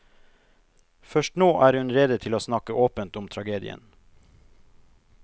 Først nå er hun rede til å snakke åpent om tragedien.